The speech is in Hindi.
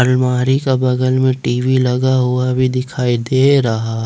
अलमारी का बगल में टी_वी लगा हुआ भी दिखाई दे रहा है।